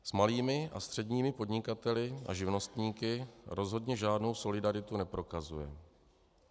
S malými a středními podnikateli a živnostníky rozhodně žádnou solidaritu neprokazuje.